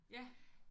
Ja